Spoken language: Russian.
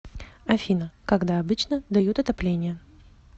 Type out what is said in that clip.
афина когда обычно дают отопление